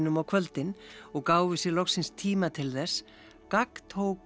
á kvöldin og gáfu sér loksins tíma til þess gagntók